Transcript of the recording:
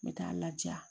N bɛ taa n laja